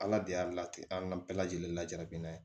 Ala de y'a lati an bɛɛ lajɛlen la jabi in na